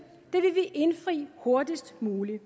vil vi indfri hurtigst muligt